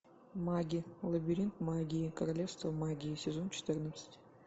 маги лабиринт магии королевство магии сезон четырнадцать